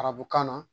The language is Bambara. Arabukan na